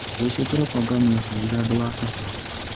Rũciũ kĩroko nganyua cai handũ wa kahũa.